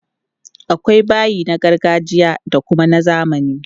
Akwai bayi na gargajiya da kuma na zamani.